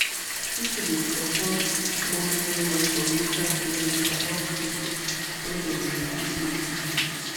people dey support more training from local clinic about food wey them fit give pikin.